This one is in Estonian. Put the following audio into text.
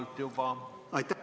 Pikalt juba.